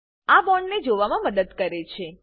આ બોન્ડને જોવામા મદદ કરે છે